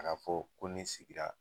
A ka fɔ ko nin sigira